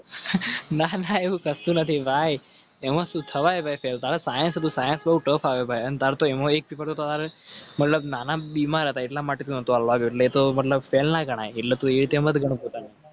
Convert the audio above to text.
સન તિવાઈ. મતલબ ના ના બીમાર. મતલબ.